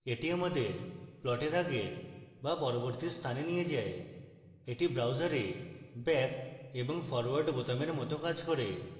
এটি আমাদের প্লটের আগের বা পরবর্তী স্থানে নিয়ে যায় এটি browser back এবং ফরওয়ার্ড বোতামের it কাজ করে